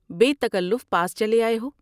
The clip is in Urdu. بے تکلف پاس چلے آۓ ہو ۔